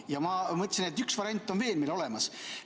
Ja ma mõtlesin, et üks variant on meil veel olemas.